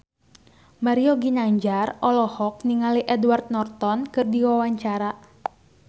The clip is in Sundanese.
Mario Ginanjar olohok ningali Edward Norton keur diwawancara